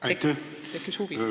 Aitäh!